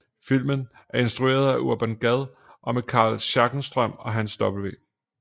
Filmen er instrueret af Urban Gad og med Carl Schenstrøm og Hans W